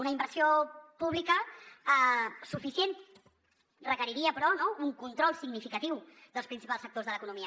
una inversió pública suficient requeriria però un control significatiu dels principals sectors de l’economia